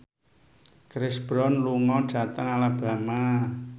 Chris Brown lunga dhateng Alabama